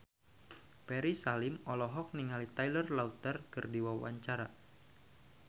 Ferry Salim olohok ningali Taylor Lautner keur diwawancara